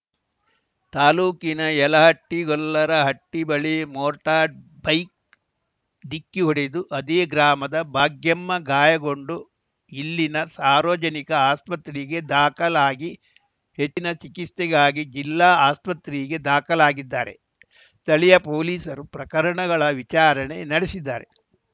ತಾಲೂಕಿನ ಯಲಹಟ್ಟಿಗೊಲ್ಲರಹಟ್ಟಿಬಳಿ motor bike ಡಿಕ್ಕಿ ಹೊಡೆದು ಅದೇ ಗ್ರಾಮದ ಭಾಗ್ಯಮ್ಮ ಗಾಯಗೊಂಡು ಇಲ್ಲಿನ ಸಾರ್ವಜನಿಕ ಆಸ್ಪತ್ರೆಗೆ ದಾಖಲಾಗಿ ಹೆಚ್ಚಿನ ಚಿಕಿತ್ಸೆಗಾಗಿ ಜಿಲ್ಲಾ ಆಸ್ಪತ್ರೆಗೆ ದಾಖಲಾಗಿದ್ದಾರೆ ಸ್ಥಳೀಯ ಪೊಲೀಸರು ಪ್ರಕರಣಗಳ ವಿಚಾರಣೆ ನಡೆಸಿದ್ದಾರೆ